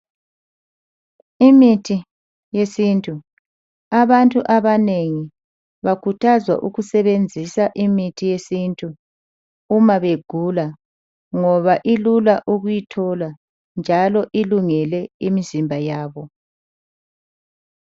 Imithi yesintu. Abantu abanengi bakhuthazwa ukusebenzisa imithi yesintu uma begula ngoba ilula ukuyithola njalo ilungele imizimba yabo.